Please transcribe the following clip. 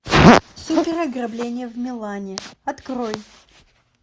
супер ограбление в милане открой